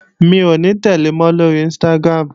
Mi ò ní tẹ̀le mọ́ lóri Instagram